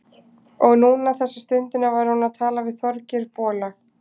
Og núna, þessa stundina, var hún að tala við Þorgeir bola.